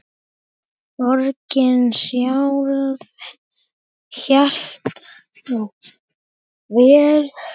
Borgin sjálf hélt þó velli.